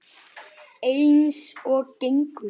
Eins og gengur.